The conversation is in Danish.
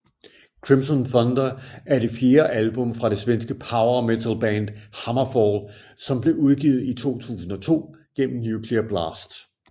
Crimson Thunder er det fjerde album fra det svenske power metalband HammerFall som blev udgivet i 2002 gennem Nuclear Blast